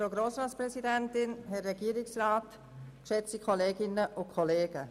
Kommissionssprecherin der SiK-Minderheit.